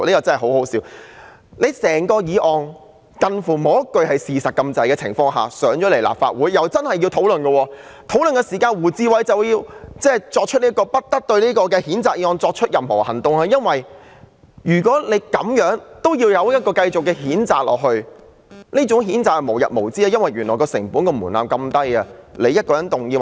這項幾乎沒有一句是事實的議案提交立法會後，大家真的要作討論，而在討論期間，胡志偉議員動議不得就這項譴責議案再採取任何行動，原因是如果這樣也可以繼續譴責，那麼譴責便會變成無日無之，因為成本和門檻非常低。